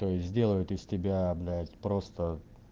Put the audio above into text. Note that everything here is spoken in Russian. сделают из тебя блять просто